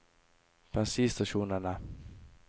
bensinstasjonene